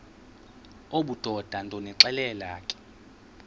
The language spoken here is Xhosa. obudoda ndonixelela ke